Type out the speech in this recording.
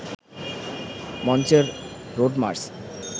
মঞ্চের road March